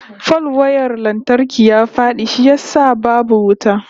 Falwayar lantarki ya fadi shi yasa babu wuta